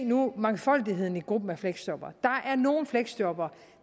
nu mangfoldigheden i gruppen af fleksjobbere der er nogle fleksjobbere